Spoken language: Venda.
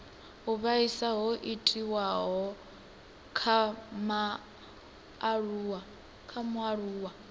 u vhaisa ho itiwaho kha mualuwa